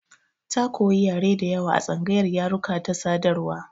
Ta koyi yare da yawa a tsangayar yaruka da sadarwa.